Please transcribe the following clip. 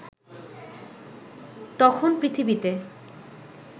তখন পৃথিবীতে